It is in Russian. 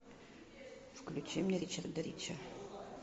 включи мне ричарда рича